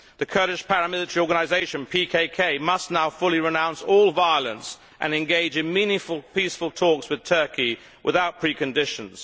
The Kurdish paramilitary organisation, PKK, must now fully renounce all violence and engage in meaningful, peaceful talks with Turkey without preconditions.